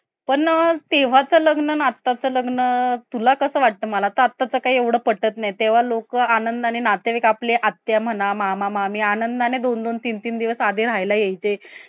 की त्यांना द्याव लागत असते या